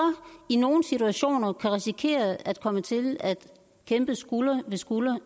i nogle situationer kan risikere at komme til at kæmpe skulder ved skulder